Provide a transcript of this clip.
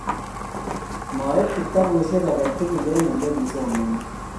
maib kitabushe aketugul eng ole kisomanee